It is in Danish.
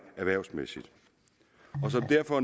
erhvervsmæssigt og som derfor